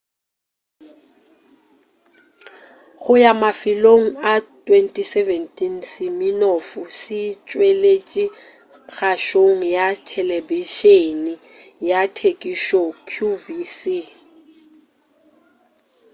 go ya mafelelong a 2017 siminoff se tšweletše kgašong ya telebišeni ya tekišo qvc